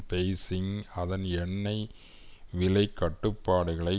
Beijing அதன் எண்ணெய் விலை கட்டுப்பாடுகளை